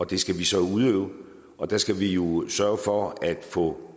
det skal vi så udøve og der skal vi jo sørge for at få